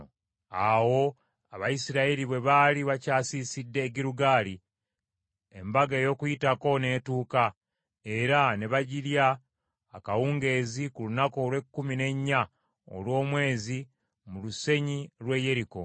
Awo Abayisirayiri bwe baali bakyasiisidde e Girugaali embaga ey’Okuyitako n’etuuka era ne bagirya akawungeezi ku lunaku olw’ekkumi n’ennya olw’omwezi, mu lusenyi lw’e Yeriko.